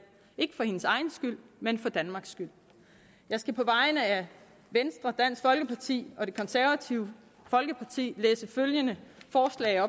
ikke for hendes egen skyld men for danmarks skyld jeg skal på vegne af venstre dansk folkeparti og det konservative folkeparti læse følgende forslag